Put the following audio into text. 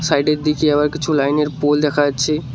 সাইডের দিকে আবার কিছু লাইনের পোল দেখা আছে।